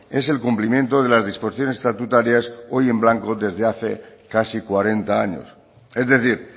es el cumplimiento de las disposiciones estatutarias hoy en blanco desde hace casi cuarenta años es decir